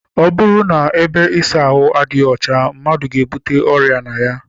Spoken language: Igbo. Ọ bụrụ na ebe ịsa ahụ adịghị ọcha, mmadụ ga- ebute ọrịa na ya.